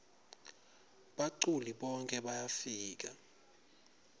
baculi bonkhe bayafika